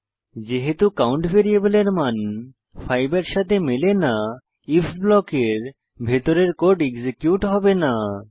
যেহেতু কাউন্ট ভ্যারিয়েবলের মান 5 এর সাথে মেলে না আইএফ ব্লকের ভিতরের কোড এক্সিকিউট হবে না